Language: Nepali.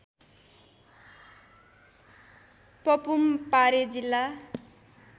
पपुमपारे जिल्ला